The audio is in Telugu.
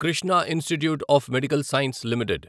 Krishna institute of medical science limited